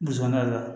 Musomanin la